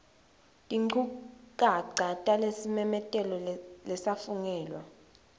tinchukaca talesimemetelo lesafungelwa